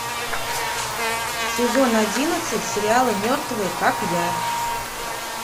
сезон одиннадцать сериала мертвые как я